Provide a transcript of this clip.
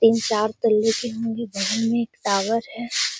तीन-चार तल्ले की होंगी बगल में एक टावर है।